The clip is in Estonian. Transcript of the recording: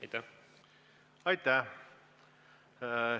Aitäh!